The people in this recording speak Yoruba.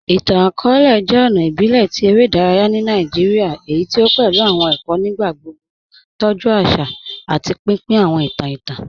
Ìtàn-akọọ̀lẹ̀ jẹ́ ọ̀nà ìbílẹ̀ tí èrè idàráyà ni Nàìjíríà èyí tí o pẹ̀lú awọn èkó nígbàgbogbo, tọ́jú àṣà, àti pínpín awọn ìtàn ìtàn.